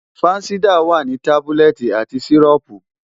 Fansidar wà ní tábúlẹ̀tì àti sìrọ́ọ̀pù.